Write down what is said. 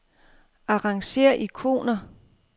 Arrangér ikoner.